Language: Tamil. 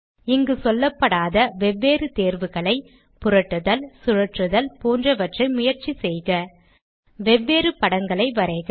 இங்கு சொல்லப்படாத வெவ்வேறு தேர்வுகளை புரட்டுதல் சுழற்றுதல் போன்றவற்றை முயற்சி செய்க வெவ்வேறு படங்களை வரைக